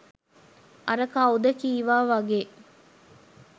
අර කවුද කිවා වගේ